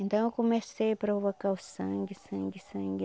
Então eu comecei a provocar o sangue, sangue, sangue.